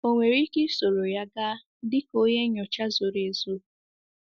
Ọ̀ nwere ike isoro ya gaa dịka onye nnyocha zoro ezo?